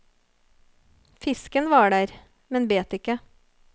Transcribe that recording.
Fisken var der, men bet ikke.